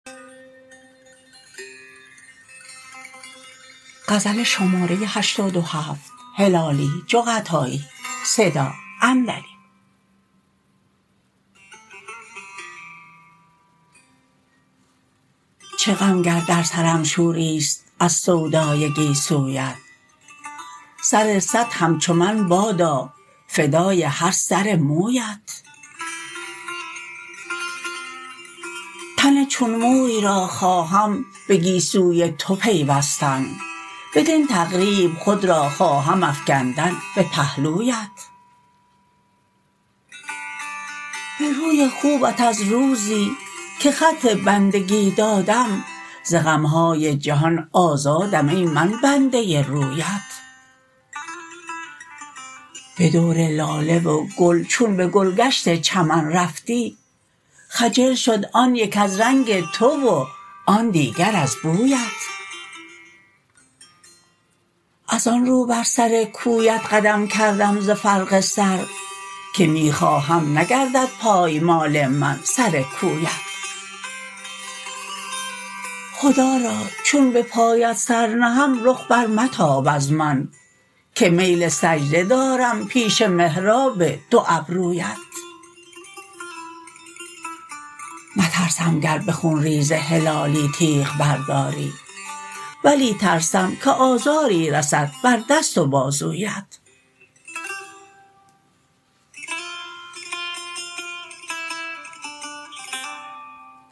چه غم گر در سرم شوریست از سودای گیسویت سر صد همچو من بادا فدای هر سر مویت تن چون موی را خواهم به گیسوی تو پیوستن بدین تقریب خود را خواهم افکندن به پهلویت به روی خوبت از روزی که خط بندگی دادم ز غم های جهان آزادم ای من بنده ی رویت به دور لاله و گل چون به گلگشت چمن رفتی خجل شد آن یک از رنگ تو و آن دیگر از بویت از آن رو بر سر کویت قدم کردم ز فرق سر که می خواهم نگردد پایمال من سر کویت خدا را چون به پایت سر نهم رخ بر متاب از من که میل سجده دارم پیش محراب دو ابرویت نترسم گر به خون ریز هلالی تیغ برداری ولی ترسم که آزاری رسد بر دست و بازویت